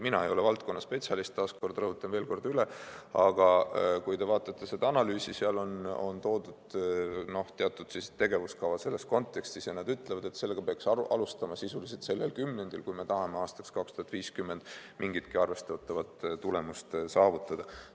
Mina ei ole valdkonna spetsialist, taas kord rõhutan üle, aga kui te vaatate seda analüüsi, siis seal on toodud teatud tegevuskava selles kontekstis ja nad ütlevad, et sellega peaks alustama sisuliselt sellel kümnendil, kui me tahame aastaks 2050 mingitki arvestatavat tulemust saavutada.